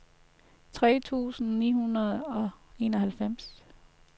tres tusind ni hundrede og enoghalvfjerds